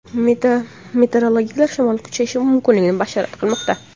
Meteorologlar shamol kuchayishi mumkinligini bashorat qilmoqda.